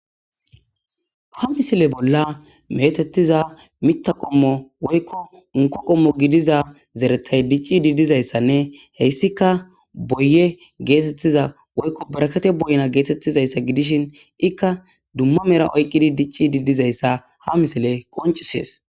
ha misile bolla metettiza miththa qommo woykko unko qommo gidiza zeretay dicci didizayssanne heyssika boye geetettiza woykko barakate boyna geetettizayssa gidishin ikka dumma mera oyqqidi dicci didizayssa ha misile qoncisees.